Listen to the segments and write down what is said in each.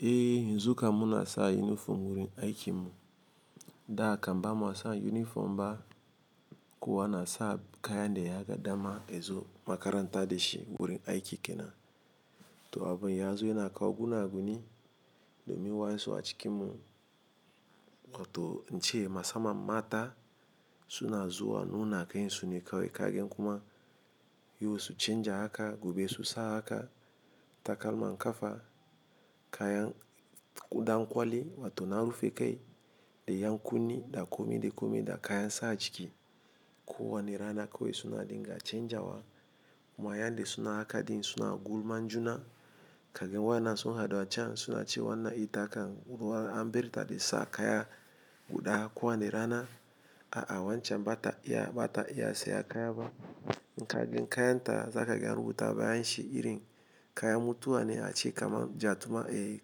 Eh, yanzu kam muna sa unifom wurin aikin mu. Da kam bamu wasa uniform ba kuwa na sa kayan da ya ga dama yazo makaranta da ci wurin aiki kenan. To abun ya zo yana kawo gunaguni domin wayansu a cikin mu. Wato ince musamman mata suna zuwa nuna kansu ne kawai kaga kuma yau su canja haka gobe Susa haka takalman kafa kayan ɗankwali wato na rufe kai da yankunni da kome da kome da kayan sa a jiki. Kowani rana kawai suna dinga canjawa. Kuma yan da suna haka ɗin suna gulman juna. Kaga wayanan sun haɗu a can suna cewa wannan ita kan anberta de sa kaya guɗa kowani rana. A wancan bata iya seya kaya ba. Intaɗin kayan ta zaga an rubuta bayan ci irin kayan mutuwa ne a ce kaman jatuma eh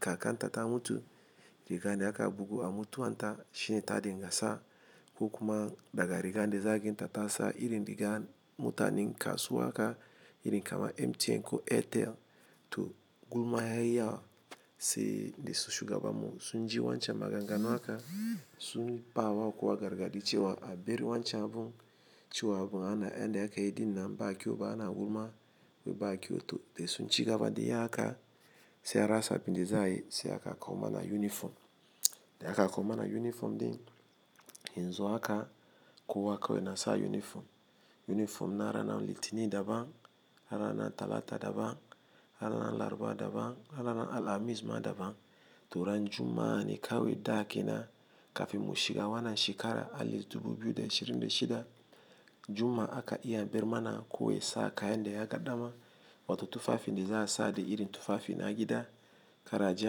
kakan ta ta mutu. Rigane aka bugu a mutuwan ta cine ta dinga sa. Ko kuma daga rigan da zagin ta ta sa irin rigan mutanen kasuwa haka irin kaman MTN ko Airtel. To gulma yayi yawa se de su shugabanmu sun ji wancan maganganu haka sun yi bawa kowa gargaɗi cewa a ber wancan abun. To yanda akeyin nan ba kyau ba ana gulma ba kyau to da sun cigaba dayi haka sai an rasa abunda za'ayi sai aka kawo mana uniform. Da aka kawo mana uniform din, yanzu haka kowa kawai yana sa uniform. Unifom na rana litini daban, na ranan talata daban, na rana laraba daban, na rana alhamis ma daban. To ran Juma'a ne kawai da kenan kafin mu shiga wannan shekara alif dubu biyu da ishirin da shida. Juma'a ka iya bermana kowa yasa kayan da ya ga dama. Wato tufafin da za a sa da irin tufafi na gida. Kar aje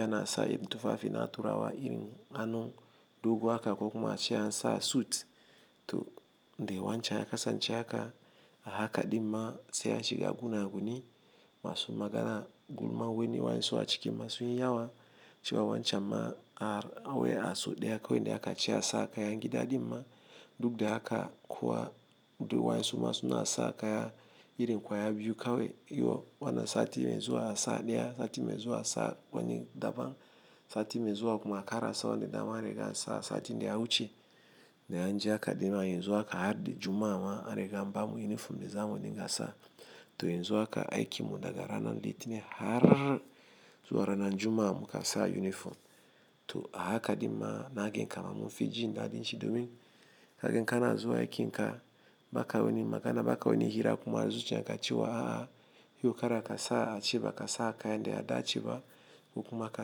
ana sa irin tufafi na turawa irin anun. Dugo haka ko kuma ace an sa suit. To dai wancan ya kasance haka. A haka dinma sai a shiga gunaguni masu magana gulma woni wayansu a ciki ma sunyi yawa. Cewa wancan ma a wai a so ɗeya kawai ne aka cewa sa kaya a gida dinma duk da haka kuwa duk wayansu ma suna sa kaya irin kwaya biyu kawai. Yo wannan sati mai zuwa a sa ɗaya, sati mai zuwa a sa woni daban. Sati mai zuwa kuma kar a sa wanda dama an riga an a satin daya wuce. Da an ji haka dinma yanzu haka har da Juma'a ma anriga an ba mu uniform da zamu dinga sa. To yanzu haka aikin mu daga rana litini har zuwa ranan Juma'a mukan sa uniform. To a haka dinma na gan kaman mu fijin daɗin ci domin kagen kana zuwa aikinka baka woni magana baka woni hira kuma a zuciyan ka cewa a a yau karaka sa a ce bakasa kayan da yadaceba. Ko kuma ka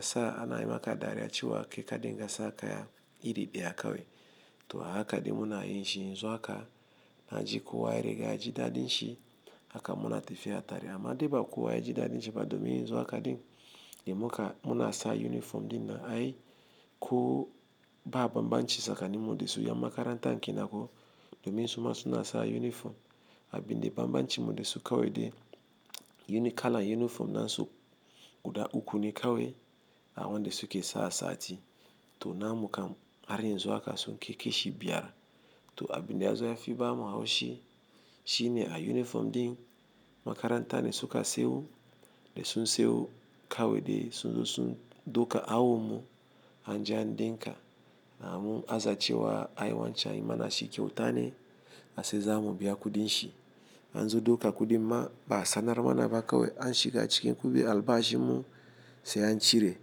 sa ana yimaka dariya cewa kai ka dinga sa kaya iri ɗaya kawai. To a haka din munayi ci yanzu haka na ji kowa yarga yaji daɗin ci. Haka muna tafiya tare. Amma dai ba kowa yaji daɗin ci ba domin yanzu haka din da muka muna sa uniform ɗin nan ai ko ba bambanci tsakanin mu da su yan makarantan kenan ko. Domin suma suna sa uniform. Abin da bambancin mu da su kawai dai yini kalan uniform nasu guda uku ne kawai. A wanda su ke sa sati. To na mu kam har yanzu haka sun kai kaci biyar. To abin dai ya zo ya fi ba mu haushi shine a yunifom din makaranta ne suka siyo. Da sun seyo kawai dai sun zo sun douka awon mu anje an dinka a mun aza cewa ai wancan anayimana ci kyautane ase za mu biya kuɗin ci an zo douka kuɗin ma ba sanarwa na bakawi an shiga cikin kuɗin albashin mu sai an cire.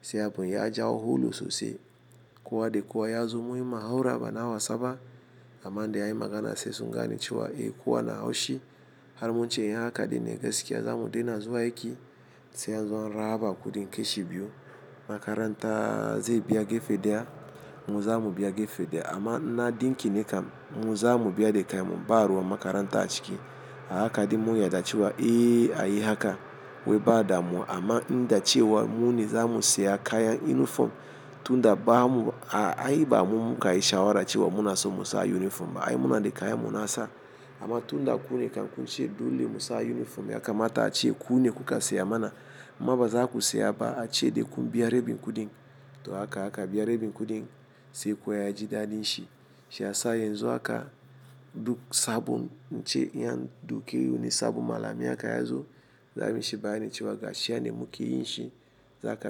Sai abun ya jawo hulu sosai. Kowa da kowa yazo munyi muhawara bana wasa ba. Amma da anyi magana sai sun gane cewa eh kowa na haushi. Har mun ce in haka ɗinne gaskiya za mu daina zuwa aiki sai an zo an raba kuɗin kashi biyu. Makaranta zai biya gefe ɗaya mu zamu biya gefe ɗaya amma na dinki ne kam mu zamu biya da kai mu ba ruwa makaranta a ciki. A haka din mun yadda cewa eh ayi haka wai ba da mu amma in dace wa mu ne za mu seya kayan uniform tun da ba mu a ai ba mu muka yi shawara cewa muna so mu sa unifom ba ai muna da kayan mu na sa. Amma tun da ku ne kam kun ce dole mu sa unifom ya kamata a ce ku ne kuka seya mana. Amma baza ku seya ba a ce dai kun biya rabin kuɗin. To haka haka biya rabin kuɗin sai kowa ya ji daɗin shi. Shi ya sa yanzu haka duk sabon ince an dauki woni sabon malami haka yazo za a yi mici bayanin cewa gashi yanda muke yin shi. Za ka.